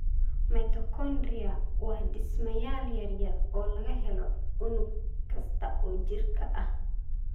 Mitochondria waa dhismayaal yaryar oo laga helo unug kasta oo jirka ah.